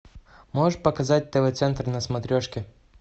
можешь показать тв центр на смотрешке